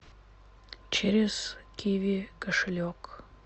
через киви кошелек